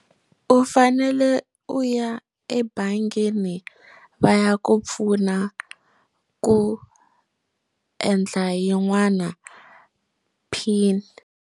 U fanele u ya ebangini va ya ku pfuna ku endla yin'wana pin.